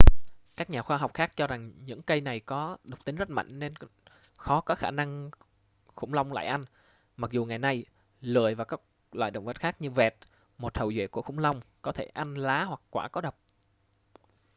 các nhà khoa học khác cho rằng những cây này có độc tính rất mạnh nên khó có khả năng khủng long lại ăn mặc dù ngày nay lười và các loài động vật khác như vẹt một hậu duệ của khủng long có thể ăn lá hoặc quả có độc